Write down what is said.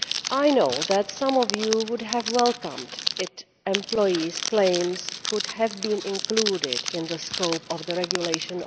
I know that some of you would have welcomed it if employees' claims could have been included in the scope of the regulation.